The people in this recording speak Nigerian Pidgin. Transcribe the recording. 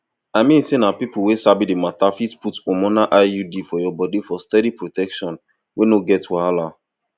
i i mean say na people wey sabi the matter fit put hormonal iud for your body for steady protection wey no get wahala